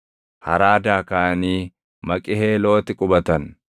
Haraadaa kaʼanii Maqiheelooti qubatan.